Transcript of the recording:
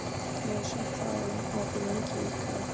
Jason, hvað er opið lengi í IKEA?